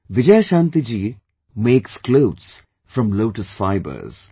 Vijayashanti ji makes clothes from lotus fibers